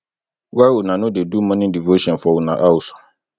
why una no dey do morning devotion for una house